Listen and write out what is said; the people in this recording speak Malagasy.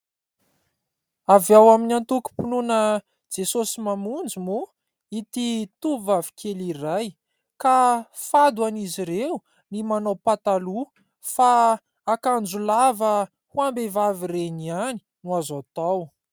Avy ao amin'ny antoakom-pinoana Jesosy Mamonjy moa ity tovovavy kely iray ka fady ho an'izy ireo ny manao pataloha fa akanjo lava ho am-behivavy ireny ihany no azo atao.